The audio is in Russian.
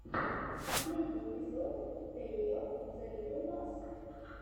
последний эпизод тэйо зе литтл бас